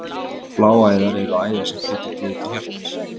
Bláæðar eru æðar sem flytja blóð til hjartans.